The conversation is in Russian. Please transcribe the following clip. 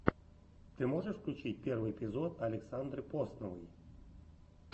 ты можешь включить первый эпизод александры посновой